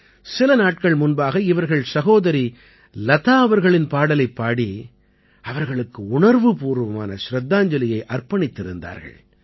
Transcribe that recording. சில நாட்கள் முன்பாக இவர்கள் சகோதரி லதா அவர்களின் பாடலைப் பாடி அவர்களுக்கு உணர்வுப்பூர்வமான சிரத்தாஞ்சலியை அர்ப்பணித்திருந்தார்கள்